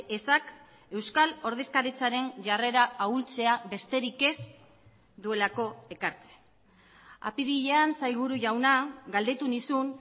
ezak euskal ordezkaritzaren jarrera ahultzea besterik ez duelako ekartzen apirilean sailburu jauna galdetu nizun